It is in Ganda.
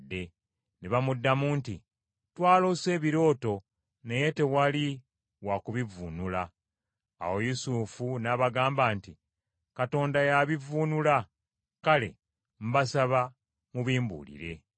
Ne bamuddamu nti, “Twaloose ebirooto, naye tewali wa kubivvuunula.” Awo Yusufu n’abagamba nti, “Katonda y’abivvuunula. Kale mbasaba mubimbuulire.”